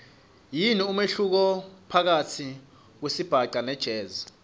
yini umehluko phakatsi kwesibhaca nejazz